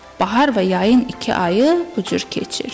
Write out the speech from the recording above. Bahar və yayın iki ayı bu cür keçir.